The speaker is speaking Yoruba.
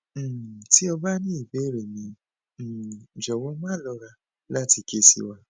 um ti o ba ni ibere mi um jowow ma lora lati ke si wa